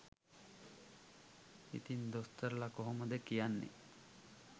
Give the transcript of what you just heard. ඉතිං දොස්තරලා කොහොමද කියන්නේ